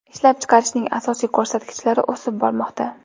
Ishlab chiqarishning asosiy ko‘rsatkichlari o‘sib bormoqda.